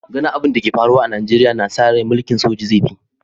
Ganin ain da ke faruwa a'Nijeriya na sa rai mulki'n soja zai fi